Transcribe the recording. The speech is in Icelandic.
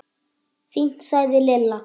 Fínt sagði Lilla.